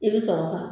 I bɛ sɔrɔ ka